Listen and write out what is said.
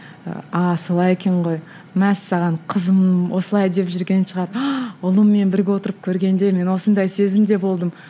ы ааа солай екен ғой мәссаған қызым осылай деп жүрген шығар ұлыммен бірге отырып көргенде мен осындай сезімде болдым